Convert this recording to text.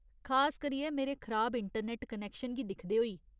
खास करियै मेरे खराब इंटरनैट्ट कनैक्शन गी दिखदे होई।